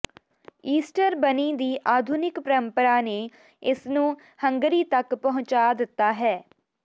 Easter bunny ਦੀ ਆਧੁਨਿਕ ਪਰੰਪਰਾ ਨੇ ਇਸਨੂੰ ਹੰਗਰੀ ਤੱਕ ਪਹੁੰਚਾ ਦਿੱਤਾ ਹੈ